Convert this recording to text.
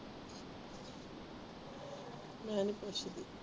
ਮੈਂ ਨਹੀਂ ਪੁੱਛਦੀ